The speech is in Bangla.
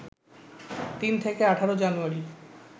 ৩ থেকে ১৮ জানুয়ারি